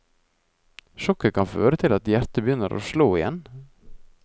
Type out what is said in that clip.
Sjokket kan føre til at hjertet begynner å slå igjen.